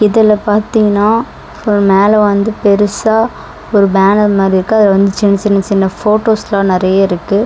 இதுல பாத்தீங்கன்னா ஃபுல் மேல வந்து பெருசா ஒரு பேனர் மாரி இருக்கு அது வந்து சின்ன சின்ன சின்ன போட்டோஸ்ல நெறைய இருக்கு.